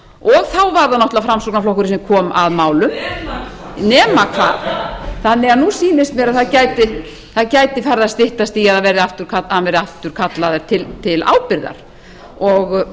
og þá var það náttúrlega framsóknarflokkurinn sem kom að málum nema hvað nema hvað þannig að ný sýnist mér að það gæti farið að styttast í að hann verði aftur kallaður til ábyrgðar og